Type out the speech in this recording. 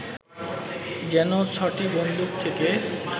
যেন ছ’টি বন্দুক থেকে